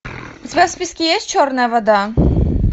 у тебя в списке есть черная вода